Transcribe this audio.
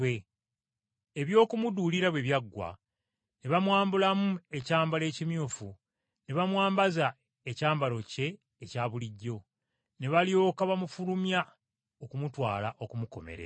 Eby’okumuduulira bwe byaggwa, ne bamwambulamu ekyambalo ekimyufu, ne bamwambaza ekyambalo kye ekya bulijjo, ne balyoka bamufulumya okumutwala okumukomerera.